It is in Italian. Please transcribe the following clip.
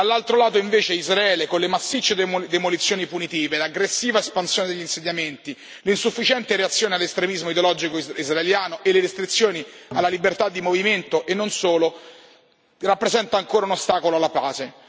dall'altro invece, Israele, con le massicce demolizioni punitive, l'aggressiva espansione degli insediamenti, l'insufficiente reazione all'estremismo ideologico israeliano e le restrizioni alla libertà di movimento e non solo, rappresenta ancora un ostacolo alla pace.